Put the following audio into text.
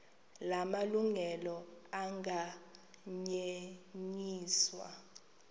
la malungelo anganyenyiswa